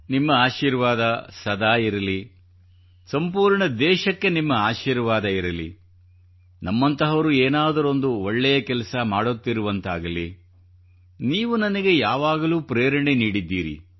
ನಿಮ್ಮ ಆಶೀರ್ವಾದ ಸದಾ ಇರಲಿ ಸಂಪೂರ್ಣ ದೇಶಕ್ಕೆ ನಿಮ್ಮ ಆಶೀರ್ವಾದವಿರಲಿ ನಮ್ಮಂತಹವರು ಏನಾದರೊಂದು ಒಳ್ಳೆಯ ಕೆಲಸ ಮಾಡುತ್ತಿರುವಂತಾಗಲಿ ನೀವು ನನಗೆ ಯಾವಾಗಲೂ ಪ್ರೇರಣೆ ನೀಡಿದ್ದೀರಿ